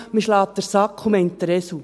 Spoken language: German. «Man schlägt den Sack und meint den Esel».